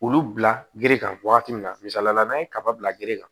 Olu bila gerekan wagati min na misalila n'an ye kaba bila gere kan